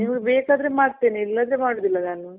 ನೀವು ಬೇಕಾದ್ರೆ ಮಾಡ್ತೀನಿ. ಇಲ್ಲ ಅಂದ್ರೆ ಮಾಡೋದಿಲ್ಲ ನಾನು